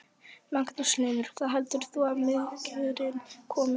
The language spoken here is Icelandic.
Magnús Hlynur: Hvaða heldur þú að minkurinn komi?